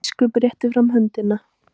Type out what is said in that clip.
Biskup rétti fram höndina.